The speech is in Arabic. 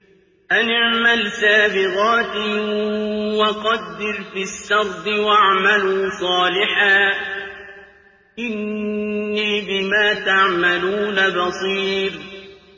أَنِ اعْمَلْ سَابِغَاتٍ وَقَدِّرْ فِي السَّرْدِ ۖ وَاعْمَلُوا صَالِحًا ۖ إِنِّي بِمَا تَعْمَلُونَ بَصِيرٌ